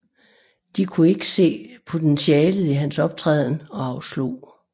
De kunne ikke se potentialet i hans optræden og afslog